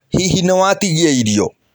Hihi nĩ watigia irio?